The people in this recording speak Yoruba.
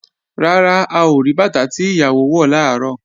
Rárá, a ò rí bàtà tí ìyàwó wọ̀ làárọ̀